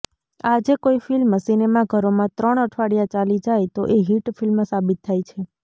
આજે કોઈ ફિલ્મ સિનેમાઘરોમાં ત્રણ અઠવાડિયા ચાલી જાય તો એ હિટ ફિલ્મ સાબિત થાય છે